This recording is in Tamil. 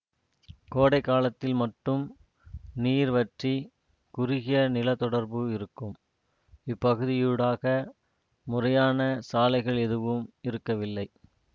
கோடை காலத்தில் மட்டும் நீர் வற்றிக் குறுகிய நிலத்தொடர்பு இருக்கும் இப்பகுதியூடாக முறையான சாலைகள் எதுவும் இருக்கவில்லை